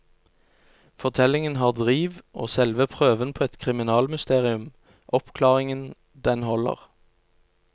Fortellingen har driv, og selve prøven på et kriminalmysterium, oppklaringen, den holder.